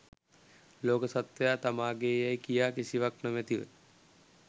ලෝක සත්ත්වයා තමා ගේ් යැයි කියා කිසිවක් නොමැතිව